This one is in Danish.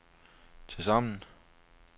tilsammen